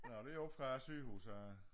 Når det oppe fra sygehuset af